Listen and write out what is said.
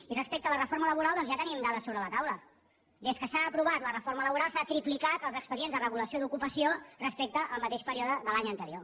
i respecte a la reforma laboral ja tenim dades sobre la taula des que s’ha aprovat la reforma laboral s’han triplicat els expedients de regulació d’ocupació respecte al mateix període de l’any anterior